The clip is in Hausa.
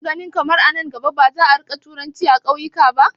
Ka na ganin kamar a nan gaba ba za a rinƙa turanci a ƙauyuka ba?